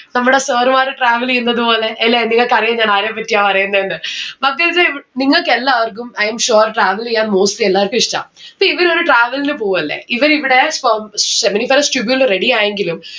നമ്മടെ sir മാര് travel എയ്ന്നത് പോലെ എല്ലേ നിങ്ങക്ക് അറിയാ ഞാൻ ആരെ പറ്റിയാ പറയുന്നേന്ന്‌? മക്കൾസെ നിങ്ങൾക്ക് എല്ലാവർക്കും i am sure travel എയ്യാൻ mostly എല്ലാർക്കും ഇഷ്ടാ. see ഇവര് ഒരു travel ന് പോവല്ലേ ഇവർ ഇവിടെ sperm Seminiferous tubule ready ആയെങ്കിലും